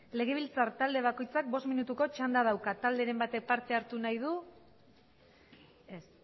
legebiltzar talde bakoitzak bost minutuko txanda dauka talderen batek parte hartu nahi du ez